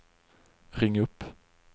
ring upp